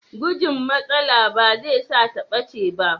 Gujin matsala ba zai sa ta ɓace ba.